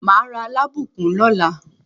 Màá ra alábùkún lọ́la.